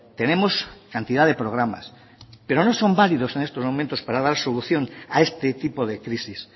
tenemos cantidad de programas pero no son válidos en estos momentos para dar solución a este tipo de crisis